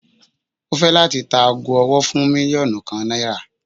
O fẹ lati ta aago ọwọ-ọwọ fun milionu kan naira